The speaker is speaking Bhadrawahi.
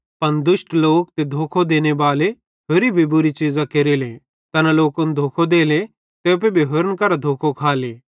पन दुष्ट लोक ते तैना धोखो देनेबाले होरि भी बुरी चीज़ां केरेले तैना लोकन धोखो देले ते एप्पू भी होरन करां धोखो खाले